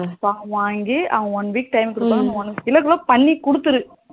form வாங்கி one week time குடுப்பாங்க இல்ல பண்ணி குடுத்துடு